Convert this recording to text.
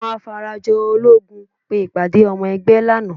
Àwọn Afarajológun pe ìpàdé ọmọ ẹgbẹ́ lánàá